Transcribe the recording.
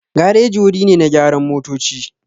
Gareji wuri ne na gyaran motoci.